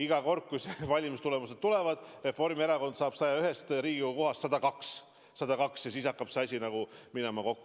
Iga kord, kui need valimistulemused tulevad, Reformierakond saab 101 Riigikogu kohast 102, ja siis hakkab see asi nagu kokku minema.